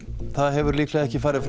það hefur líklega ekki farið